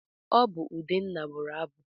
Ọ bụ Udenna bụrụ abụ.